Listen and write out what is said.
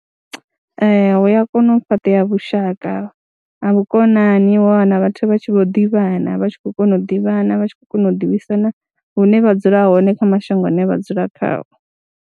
Ee, u ya kona u fhaṱea vhushaka ha vhukonani wa wana vhathu vha tshi vho ḓivhana, vha tshi khou kona u ḓivhana, vha tshi khou kona u ḓivhisana hune vha dzula hone kha mashango ane vha dzula khao.